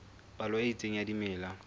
palo e itseng ya dimela